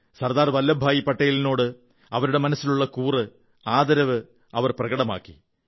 സർദാർ വല്ലഭഭായി പട്ടേലിനോട് അവരുടെ മനസ്സിലുള്ള കൂറും ആദരവും പ്രകടമാക്കി